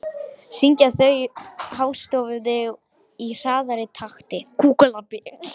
Syngja þau hástöfum í hraðari takti.